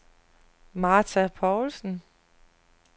Martha Poulsen